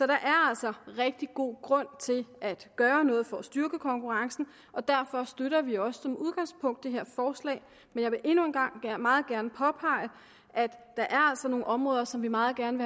er altså rigtig god grund til at gøre noget for at styrke konkurrencen og derfor støtter vi også som udgangspunkt det her forslag men jeg vil endnu en gang meget gerne påpege at der er altså nogle områder som vi meget gerne